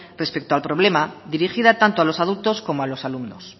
respecto al problema dirigida tanto a los adultos como a los alumnos